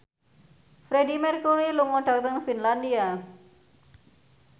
Freedie Mercury lunga dhateng Finlandia